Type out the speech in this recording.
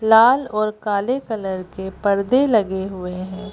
लाल और काले कलर के पर्दे लगे हुए हैं।